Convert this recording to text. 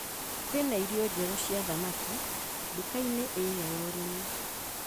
Kwĩna irio njerũ cia thamaki nduka-inĩ ĩrĩa ya ũrĩmi